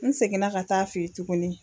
N seginna ka taa a feyi tuguni.